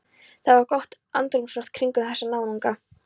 Það var gott andrúmsloft kringum þessa náunga.